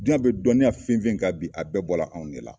Duyan bɛ dɔnniya fen fen kan bi, a bɛɛ bɔla anw ne la.